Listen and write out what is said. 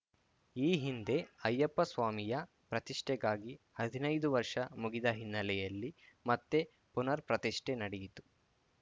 ಈ ಹಿಂದೆ ಅಯ್ಯಪ್ಪಸ್ವಾಮಿಯ ಪ್ರತಿಷ್ಠೆಗಾಗಿ ಹದಿನೈದು ವರ್ಷ ಮುಗಿದ ಹಿನ್ನೆಲೆಯಲ್ಲಿ ಮತ್ತೆ ಪುನರ್‌ ಪ್ರತಿಷ್ಠೆ ನಡೆಯಿತು